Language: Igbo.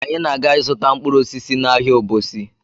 Anyị na- aga ịzụta mkpụrụ osisi n'ahịa Obosi